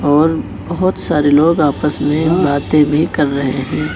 और बहोत सारे लोग आपस में बातें भी कर रहे हैं।